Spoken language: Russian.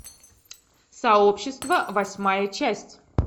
сообщество восьмая часть